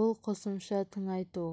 бұл қосымша тыңайту